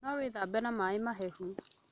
No wĩ thambe na maĩ mahehu